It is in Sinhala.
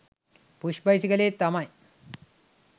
පුෂ් බයිසිකලේ තමයි